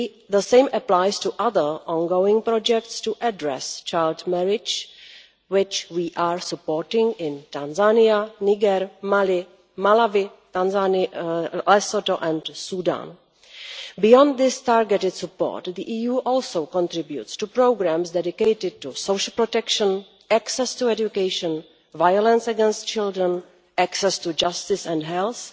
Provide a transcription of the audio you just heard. The same applies to other ongoing projects to address child marriage which we are supporting in Tanzania, Niger, Mali, Malawi, Lesotho and Sudan. Beyond this targeted support, the EU also contributes to programmes dedicated to social protection, access to education, violence against children, and access to justice and health,